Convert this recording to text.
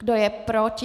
Kdo je proti?